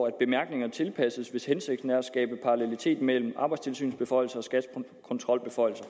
at bemærkningerne tilpasses hvis hensigten er at skabe parallelitet mellem arbejdstilsynets beføjelser og skats kontrolbeføjelser